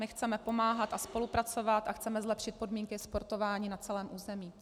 My chceme pomáhat a spolupracovat a chceme zlepšit podmínky sportování na celém území.